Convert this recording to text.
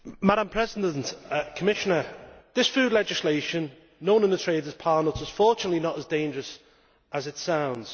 Madam President, Commissioner. This food legislation, known in the trade as Parnuts, is fortunately not as dangerous as it sounds.